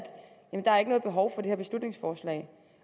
der ikke er noget behov for det her beslutningsforslag